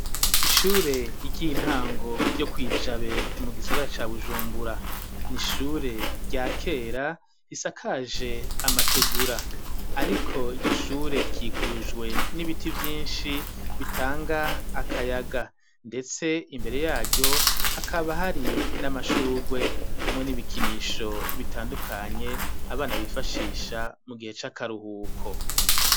Ishure ry' intango yo kwi jabe mu gisagara ca bujumbura nishure rya kera hisakaje amategura ariko iryo shure ryikujwe n'ibiti byinshi bitanga akayaga ndetse imbere yaryo hakaba hari n'amashurwe hamwe n'ibikinisho bitandukanye abana bifashisha mu gihe c'akaruhuko.